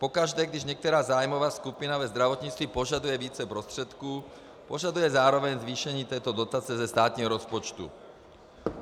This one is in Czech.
Pokaždé když některá zájmová skupina ve zdravotnictví požaduje více prostředků, požaduje zároveň zvýšení této dotace ze státního rozpočtu.